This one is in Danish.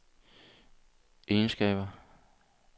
egenskaber